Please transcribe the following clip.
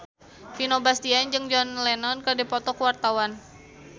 Vino Bastian jeung John Lennon keur dipoto ku wartawan